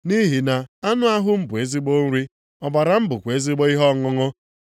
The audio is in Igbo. Nʼihi na anụ ahụ m bụ ezigbo nri, ọbara m bụkwa ezigbo ihe ọṅụṅụ.